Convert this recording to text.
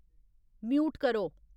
mute करो